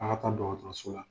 Ala ka taa dɔtɔrɔso la